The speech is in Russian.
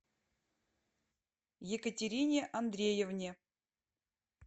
екатерине андреевне